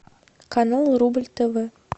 канал рубль тв